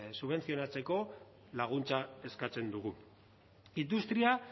subentzionatzeko laguntza eskatzen dugu industria